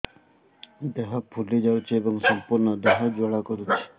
ଦେହ ଫୁଲି ଯାଉଛି ଏବଂ ସମ୍ପୂର୍ଣ୍ଣ ଦେହ ଜ୍ୱାଳା କରୁଛି